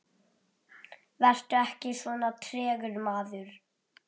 Vertu ekki svona tregur, maður!